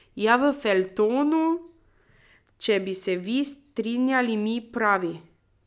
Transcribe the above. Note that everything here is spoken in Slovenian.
Ja, v feljtonu, če bi se vi strinjali, mi pravi.